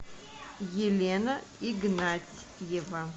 елена игнатьева